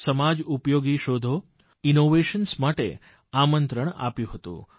સમાજ ઉપયોગી શોધો ઇનોવેશન માટે આમંત્રણ અપાયું હતું